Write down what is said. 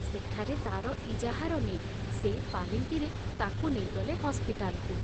ସେଠାରେ ତାର ଇଜାହାର ନେଇ ସେଇ ପାଲିଙ୍କିରେ ତାକୁ ନେଇଗଲେ ହସ୍ପିଟାଲକୁ।